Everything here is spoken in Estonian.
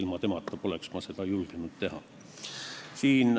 Ilma tema kohalolekuta ma poleks seda julgenud teha.